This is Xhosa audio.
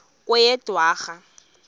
kweyedwarha